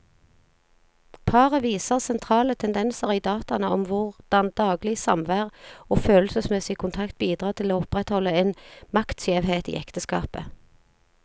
Paret viser sentrale tendenser i dataene om hvordan daglig samvær og følelsesmessig kontakt bidrar til å opprettholde en maktskjevhet i ekteskapet.